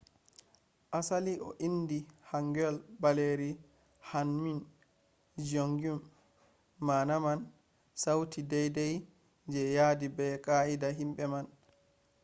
asali o indi hangeul baleeri hunmin jeongeum maana man sauti daidai je yaadi be qaa’ida himbe man’’